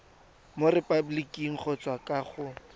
mo repaboliking kgotsa kwa go